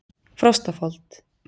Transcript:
Frostafold